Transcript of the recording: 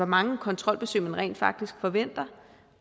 mange kontrolbesøg man rent faktisk forventer